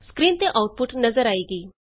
screen ਤੇ output ਨਜ਼ਰ ਆਏਗੀ